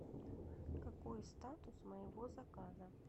какой статус моего заказа